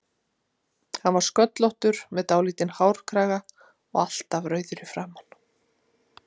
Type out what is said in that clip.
Hann var sköllóttur með dálítinn hárkraga og alltaf rauður í framan.